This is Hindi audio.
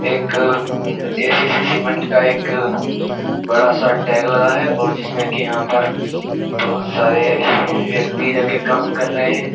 एक एसीसी सीमेंट का एक बड़ा सा टैग लगा है और जिसमें कि यहां पर बहुत सारे व्यक्ति जाके काम कर रहे हैं।